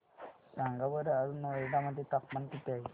सांगा बरं आज नोएडा मध्ये तापमान किती आहे